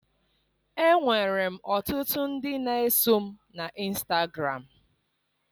Enwere m ọtụtụ ndị na-eso m na Ịnstagram.